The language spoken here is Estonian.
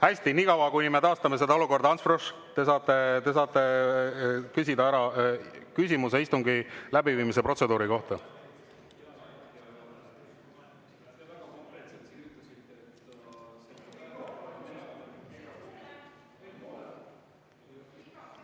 Hästi, nii kaua kui me taastame seda olukorda, Ants Frosch, te saate küsida küsimuse istungi läbiviimise protseduuri kohta.